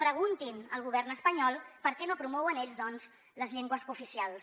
preguntin al govern espanyol per què no promouen ells doncs les llengües cooficials